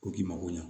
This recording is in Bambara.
Ko k'i mago ɲa